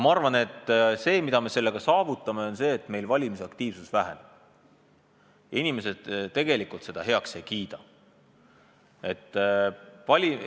Ma arvan, et sellega me saavutame seda, et valimisaktiivsus väheneb, sest inimesed ei kiida seda tegelikult heaks.